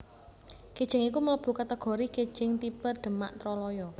Kijing iku mlebu kategori kijing tipe Demak Troloyo